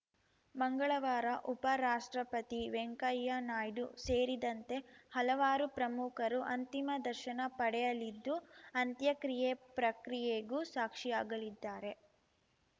ಮಂಗಳವಾರ ಉಪರಾಷ್ಟ್ರಪತಿ ವೆಂಕಯ್ಯ ನಾಯ್ಡು ಸೇರಿದಂತೆ ಹಲವಾರು ಪ್ರಮುಖರು ಅಂತಿಮ ದರ್ಶನ ಪಡೆಯಲಿದ್ದು ಅಂತ್ಯಕ್ರಿಯೆ ಪ್ರಕ್ರಿಯೆಗೂ ಸಾಕ್ಷಿಯಾಗಲಿದ್ದಾರೆ